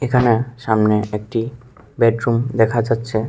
এখানে সামনে একটি বেডরুম দেখা যাচ্ছে।